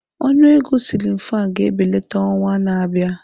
Ọnụ ego siilin fan ga-ebelata n'ọnwa na-abịa.